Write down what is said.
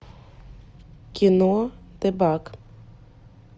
кино тебак